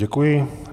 Děkuji.